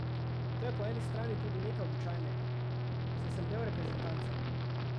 To je po eni strani tudi nekaj običajnega, saj sem del reprezentance.